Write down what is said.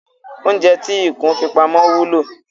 Oúnjẹ tí ikùn fi pamọ́ wúlò.